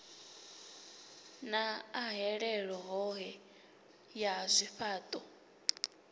na ahelelo hohe ya zwifhao